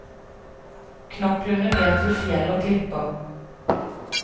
Knoklene blir til fjell og klipper.